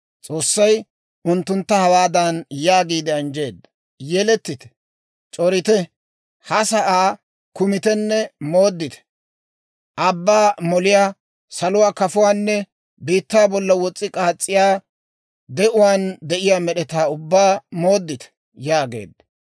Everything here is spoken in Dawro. S'oossay unttuntta hawaadan yaagiide anjjeedda; «Yelettite; c'orite; ha sa'aa kumitenne mooddite; abbaa moliyaa, saluwaa kafuwaanne biittaa bolla wos's'i k'aas's'iyaa, de'uwaan de'iyaa med'etaa ubbaa mooddite» yaageedda.